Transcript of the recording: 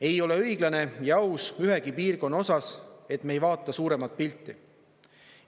Ei ole õiglane ja aus ühegi piirkonna osas, et me ei vaata suuremat pilti.